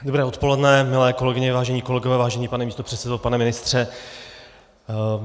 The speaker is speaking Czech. Dobré odpoledne, milé kolegyně, vážení kolegové, vážený pane místopředsedo, pane ministře.